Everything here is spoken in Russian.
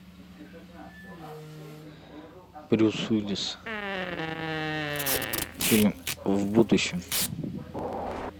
брюс уиллис фильм в будущем